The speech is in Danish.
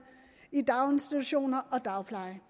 i daginstitutioner og dagpleje